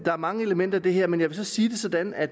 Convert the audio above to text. er mange elementer i det her men jeg vil sige det sådan at